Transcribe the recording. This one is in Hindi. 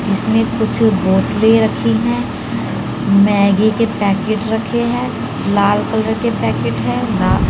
जिसमें कुछ बोतलें रखी हैं मैगी के पैकेट रखे हैं लाल कलर के पैकेट है ला--